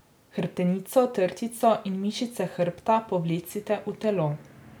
Hrbtenico, trtico in mišice hrbta povlecite v telo.